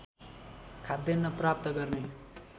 खाद्यान्न प्राप्त गर्ने